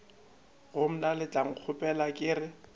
go mna letlankgopola ke re